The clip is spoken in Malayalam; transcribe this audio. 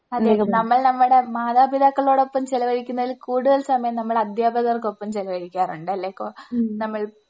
അതെ നമ്മൾ നമ്മടെ മാതാപിതാക്കളോടൊപ്പം ചിലവഴിക്കുന്നതിൽ കൂടുതൽ സമയം നമ്മൾ അധ്യാപകർക്കൊപ്പം ചിലവഴിക്കാറുണ്ട് അല്ലേ? കോ നമ്മൾ